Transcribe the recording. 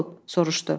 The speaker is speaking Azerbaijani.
soruşdu.